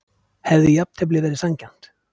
Hefði jafntefli verið sanngjarnt?